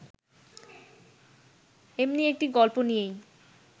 এমনি একটি গল্প নিয়েই